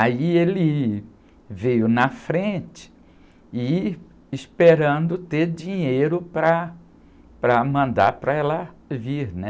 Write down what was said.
Aí ele veio na frente, e esperando ter dinheiro para, para mandar para ela vir, né?